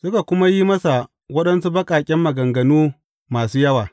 Suka kuma yi masa waɗansu baƙaƙen maganganu masu yawa.